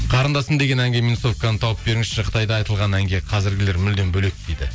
қарындасым деген әнге минусовканы тауып беріңізші қытайда айтылған әнге қазіргілер мүлдем бөлек дейді